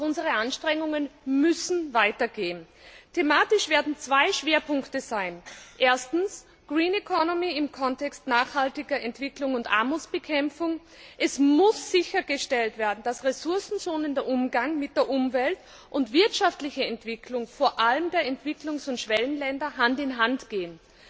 Doch unsere Anstrengungen müssen weitergehen. Thematisch wird es zwei Schwerpunkte geben erstens im Kontext nachhaltiger Entwicklung und Armutsbekämpfung. Es muss sichergestellt werden, dass Ressourcen schonender Umgang mit der Umwelt und wirtschaftliche Entwicklung vor allem der Entwicklungs und Schwellenländer Hand in Hand gehen.